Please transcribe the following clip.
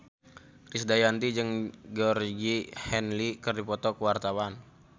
Krisdayanti jeung Georgie Henley keur dipoto ku wartawan